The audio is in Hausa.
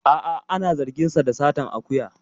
A'a ana zargin sa da satar akuya